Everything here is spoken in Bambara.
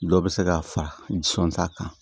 Dɔ bɛ se ka fara jɔn ta kan